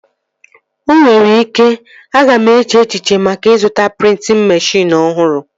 O nwere ike, aga m eche echiche maka ịzụta prịntịn meshịn ọhụrụ